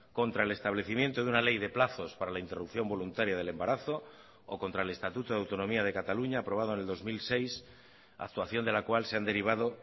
contra el establecimiento de una ley de plazos para la interrupción voluntaria del embarazo o contra el estatuto de autonomía de cataluña aprobado en el dos mil seis actuación de la cual se han derivado